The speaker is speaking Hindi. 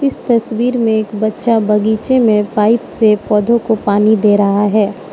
इस तस्वीर में एक बच्चा बगीचे में पाइप से पौधों को पानी दे रहा है।